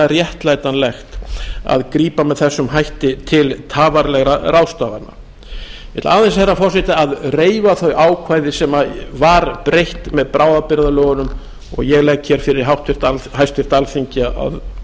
réttlætanlegt að grípa með þessum hætti til tafarlausra ráðstafana ég ætla aðeins herra forseti að reifa þau ákvæði sem var breytt með bráðabirgðalögunum og ég legg fyrir háttvirta alþingi að